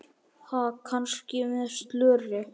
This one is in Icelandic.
Ha, kannski með slöri?